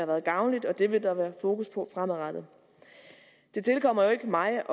været gavnligt og det vil der være fokus på fremadrettet det tilkommer jo ikke mig